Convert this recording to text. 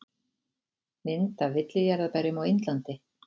Mynd af villijarðarberjum á Indlandi.